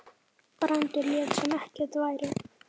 Brandur lét sem ekkert væri.